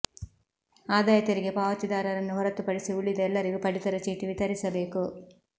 ಆದಾಯ ತೆರಿಗೆ ಪಾವತಿದಾರರನ್ನು ಹೊರತುಪಡಿಸಿ ಉಳಿದ ಎಲ್ಲರಿಗೂ ಪಡಿತರ ಚೀಟಿ ವಿತರಿಸಬೇಕು